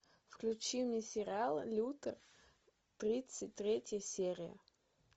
включи мне сериал лютер тридцать третья серия